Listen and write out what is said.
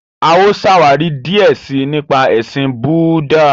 A ó ṣàwári díẹ sii nípa ẹṣin Búúdà.